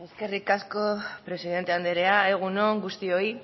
eskerrik asko presidente anderea egun on guztioi